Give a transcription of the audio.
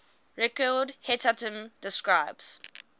record hetatm describes